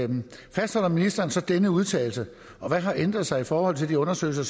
fastholder ministeren så denne udtalelse og hvad har ændret sig i forhold til de undersøgelser